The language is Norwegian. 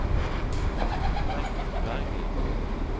Bengt Bergli